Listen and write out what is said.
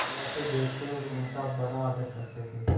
निगाह से देखते और उनका बड़ा आदर करते थे